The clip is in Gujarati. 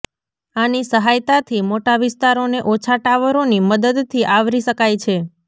આની સહાયતાથી મોટા વિસ્તારોને ઓછા ટાવરોની મદદથી આવરી શકાય છે